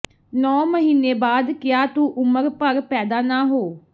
ਨੌ ਮਹੀਨੇ ਬਾਅਦ ਕਿਆ ਤੂ ਉਮਰ ਭਰ ਪੈਦਾ ਨਾ ਹੋ